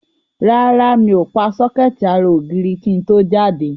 Rárá, mi ò pa sọ́kẹ́ẹ̀tì ara ògiri kí n tó jáde.